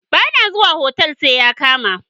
Ba na zuwa otal sai ya kama.